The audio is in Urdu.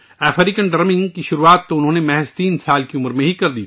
اس نے 3 سال کی عمر میں افریقی ڈھول بجانا شروع کیا